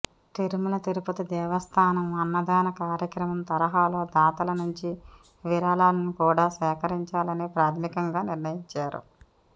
తిరుమల తిరుపతి దేవస్థానం అన్నదాన కార్యక్రమం తరహాలో దాతల నుంచి విరాళాలను కూడా సేకరించాలని ప్రాథమికంగా నిర్ణయించారు